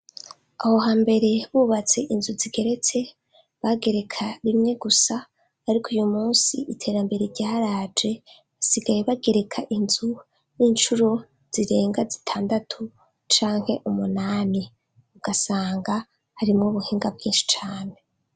Aho hambere bubatse inzu zigeretse bagereka rimwe gusa ariko uyu munsi iterambere ryaraje basigaye bagereka inzu nk'incuro zirenga zitandatu canke umunani ugasanga harimwo ubuhinga bwinshi cane.